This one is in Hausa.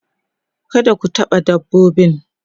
kada ku taɓa dabbobin